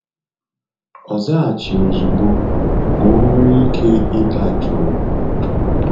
Ọ zaghachighi ozigbo, ka o nwere ike ịdajuu